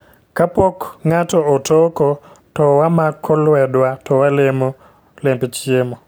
Kapok ng'ato otoko, to wamako lwedwa to walemo lemb chiemo